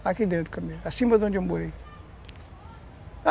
É, aqui dentro também, acima de onde eu morei.